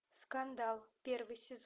скандал первый сезон